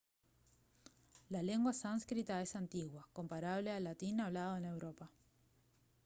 la lengua sánscrita es antigua comparable al latín hablado en europa